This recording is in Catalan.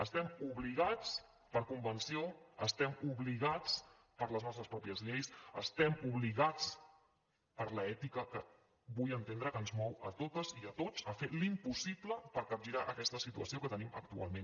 estem obligats per convenció estem obligats per les nostres pròpies lleis estem obligats per l’ètica que vull entendre que ens mou a totes i a tots a fer l’impossible per capgirar aquesta situació que tenim actualment